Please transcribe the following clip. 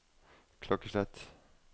klokkeslett